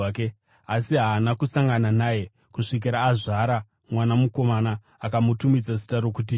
asi haana kusangana naye kusvikira azvara mwana mukomana. Akamutumidza zita rokuti Jesu.